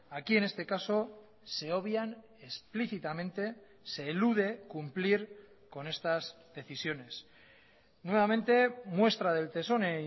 aquí en este caso se obvian explícitamente se elude cumplir con estas decisiones nuevamente muestra del tesón e